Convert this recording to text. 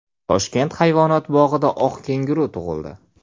Toshkent hayvonot bog‘ida oq kenguru tug‘ildi .